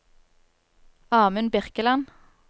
Amund Birkeland